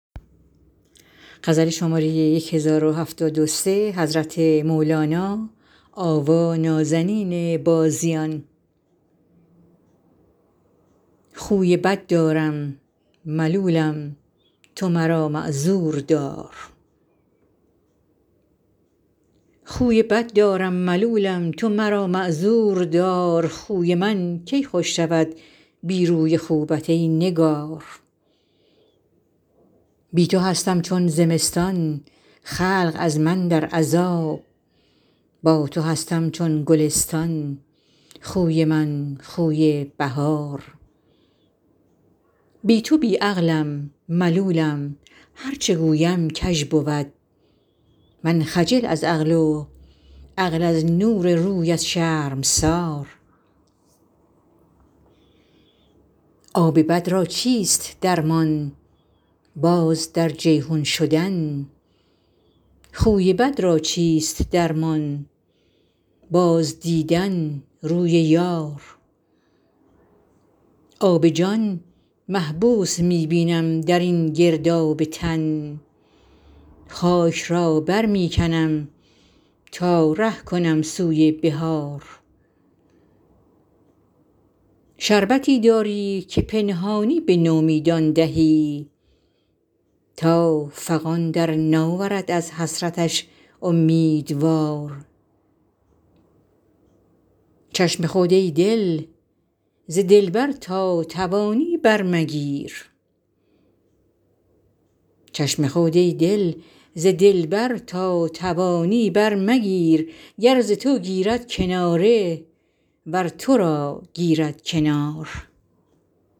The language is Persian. خوی بد دارم ملولم تو مرا معذور دار خوی من کی خوش شود بی روی خوبت ای نگار بی تو هستم چون زمستان خلق از من در عذاب با تو هستم چون گلستان خوی من خوی بهار بی تو بی عقلم ملولم هر چه گویم کژ بود من خجل از عقل و عقل از نور رویت شرمسار آب بد را چیست درمان باز در جیحون شدن خوی بد را چیست درمان بازدیدن روی یار آب جان محبوس می بینم در این گرداب تن خاک را بر می کنم تا ره کنم سوی بحار شربتی داری که پنهانی به نومیدان دهی تا فغان بر ناورد از حسرتش اومیدوار چشم خود ای دل ز دلبر تا توانی برمگیر گر ز تو گیرد کناره ور تو را گیرد کنار